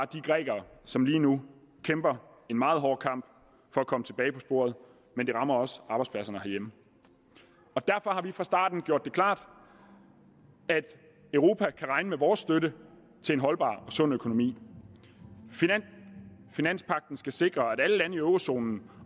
de grækere som lige nu kæmper en meget hård kamp for at komme tilbage på sporet men det rammer også arbejdspladserne herhjemme derfor har vi fra starten gjort det klart at europa kan regne med vores støtte til en holdbar og sund økonomi finanspagten skal sikre at alle lande i eurozonen